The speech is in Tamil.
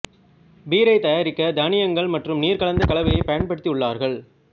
பீரை தயாரிக்க தானியங்கள் மற்றும் நீர் கலந்த கலவையைப் பயன்படுத்தியுள்ளார்கள்